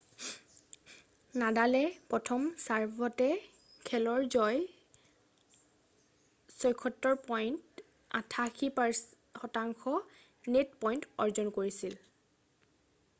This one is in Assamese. নাডালে প্ৰথম ছাৰ্ভতে খেল জয়ৰ 76পইণ্ট 88% নেট পইণ্ট অৰ্জন কৰিছিল